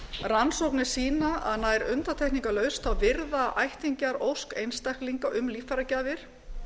rannsóknir sýna að nær undantekningarlaust virða ættingjar ósk einstaklinga um líffæragjafir